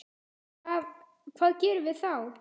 Hvað, hvað gerum við þá?